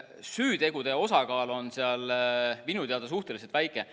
Süütegude osakaal on seal minu teada suhteliselt väike.